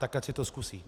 Tak ať si to zkusí!